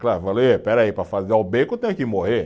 Claro, falou ê, espera aí, para fazer o bacon tem que morrer.